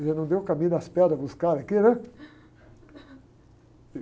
Quer dizer, não deu o caminho das pedras para os caras aqui, né?